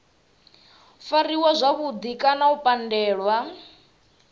fariwa zwavhudi kana u pandelwa